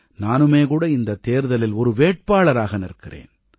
நானுமே கூட இந்தத் தேர்தலில் ஒரு வேட்பாளராக நிற்கிறேன்